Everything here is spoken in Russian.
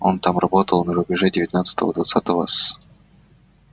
он там работал на рубеже девятнадцатого-двадцатого с